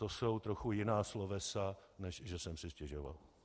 To jsou trochu jiná slovesa, než že jsem si stěžoval.